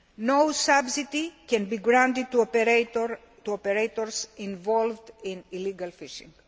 No subsidy can be granted to operators involved in illegal fishing.